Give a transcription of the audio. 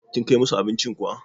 Kin Kai musu abincin kuwa?